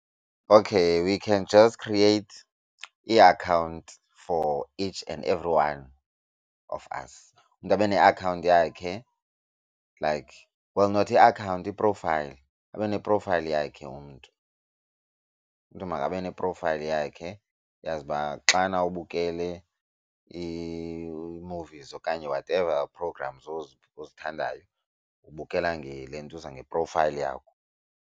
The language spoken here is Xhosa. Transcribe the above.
Okay we can just create iakhawunti for each and every one of us. Umntu abe neakhawunti yakhe like well not iakhawunti i-profile abe ne profile yakhe umntu. Umntu makabe ne-profile yakhe uyazi uba xana ubukele ii-movies okanye whatever programs ozithandayo ubukela ngelentuza ngeprofayile yakho.